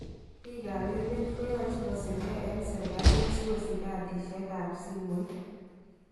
Bik kap emet koyoche kosirge eng serkalit sikosich kadishek kap simoit.